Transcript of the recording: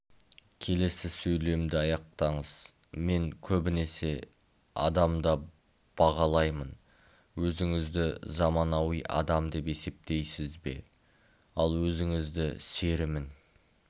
келесі сөйлемді аяқтаңыз мен көбінесе адамда бағалаймын өзіңізді заманауи адам деп есептейсіз бе ал өзіңізді серімін